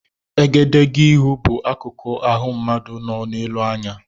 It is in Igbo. Egedegeihū bụ akukụ ịhụ mmadụ nọ n'elu anya.